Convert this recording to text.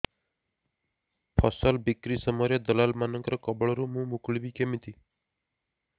ଫସଲ ବିକ୍ରୀ ସମୟରେ ଦଲାଲ୍ ମାନଙ୍କ କବଳରୁ ମୁଁ ମୁକୁଳିଵି କେମିତି